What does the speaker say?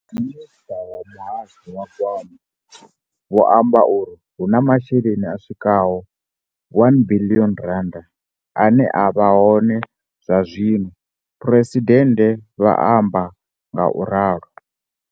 ''Minisṱa wa Muhasho wa Gwama vho amba uri hu na masheleni a swikaho R1 biḽioni ane a vha hone zwazwino,'' Phresidennde vha amba ngauralo.